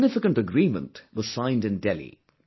A significant agreement was signed in Delhi